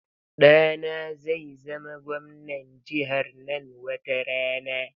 Ɗana zai zama gwamnan jihar nan wata rana.